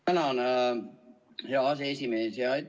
Tänan, hea aseesimees!